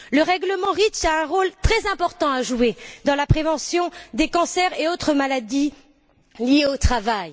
Le règlement REACH a un rôle très important à jouer dans la prévention des cancers et des autres maladies liées au travail.